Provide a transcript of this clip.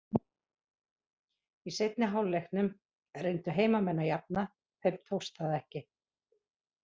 Í seinni hálfleiknum reyndu heimamenn að jafna, þeim tókst það ekki.